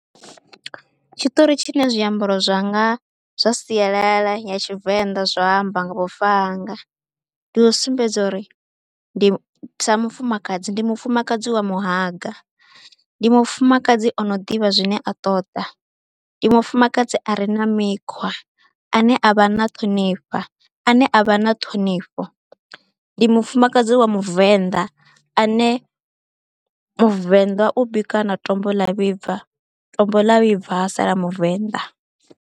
Tshiṱori tshine zwiambaro zwanga zwa sialala ya Tshivenḓa zwa amba nga vhufa hanga ndi u sumbedza uri ndi, sa mufumakadzi ndi mufumakadzi wa muhaga, ndi mufumakadzi o no ḓivha zwine a ṱoḓa, ndi mufumakadzi a re na mikhwa ane a vha na ṱhonifha, ane a vha na ṱhonifho. Ndi mufumakadzi wa muvenḓa ane muvenḓa u bikwa na tombo ḽa vhibva tombo ḽa vhibva ha sala muvenḓa.